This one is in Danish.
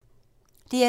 DR2